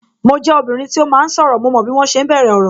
Mo jẹ obìnrin tí ó máa ń sọ̀rọ̀, mo mọ bí wọn ṣe ń bẹ̀rẹ̀ ọ̀rọ̀